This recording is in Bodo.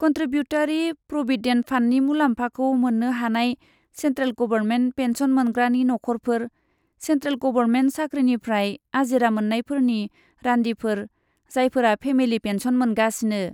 कनट्रिबिउटारि प्रविडेन्ट फान्डनि मुलाम्फाखौ मोन्नो हानाय सेन्ट्रेल गबरमेन्ट पेन्सन मोनग्रानि नखरफोरः सेन्ट्रेल गबरमेन्ट साख्रिनिफ्राय आजिरा मोन्नायफोरनि रान्दिफोर जायफोरा फेमिलि पेन्सन मोनगासिनो।